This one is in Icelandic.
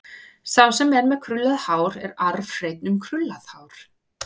Sá sem er með krullað hár er arfhreinn um krullað hár.